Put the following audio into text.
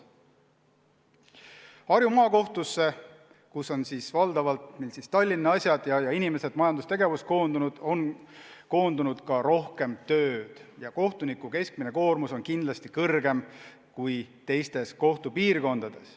Harju Maakohtusse, kus käsitletakse valdavalt Tallinna asju, on koondunud rohkem tööd ning kohtuniku keskmine koormus on kindlasti suurem kui teistes kohtupiirkondades.